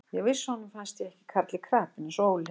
Ég vissi að honum fannst ég ekki karl í krapinu eins og Óli.